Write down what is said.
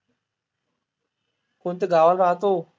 कोणत्या गावाला राहतो?